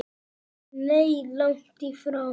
Nei, langt í frá.